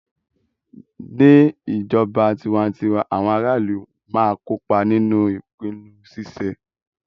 Ni ijọba tiwantiwa, awọn ara ilu ma n kopa ninu ipinnu ṣiṣe